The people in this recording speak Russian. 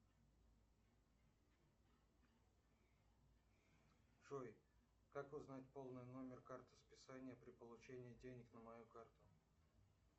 джой как узнать полный номер карты списания при получении денег на мою карту